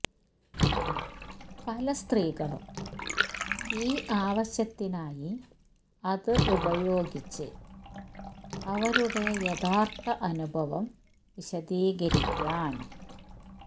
പല സ്ത്രീകളും ഈ ആവശ്യത്തിനായി അത് ഉപയോഗിച്ച് അവരുടെ യഥാർത്ഥ അനുഭവം വിശദീകരിക്കാൻ